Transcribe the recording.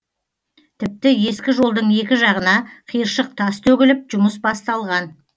тіпті ескі жолдың екі жағына қиыршық тас төгіліп жұмыс басталған